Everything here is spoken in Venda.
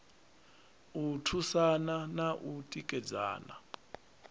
u thusana na u tikedzana